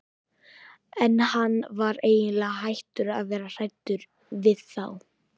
En hann var eiginlega hættur að vera hræddur við þá.